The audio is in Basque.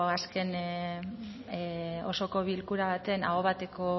azken osoko bilkura baten aho bateko